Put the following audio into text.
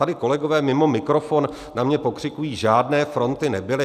Tady kolegové mimo mikrofon na mě pokřikují, žádné fronty nebyly.